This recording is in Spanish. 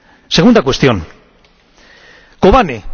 Segunda cuestión Kobane.